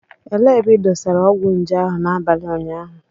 Elee ebe ị dosara ọgwụ nje ahụ n'abalị ụnyaahụ